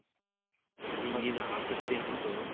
ಅದೇ ಈಗ ಆಸಕ್ತಿ ಅನ್ನೋದು